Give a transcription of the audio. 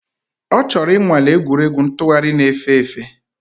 Ọ chọrọ ịnwale egwuregwu ntụgharị na-efe efe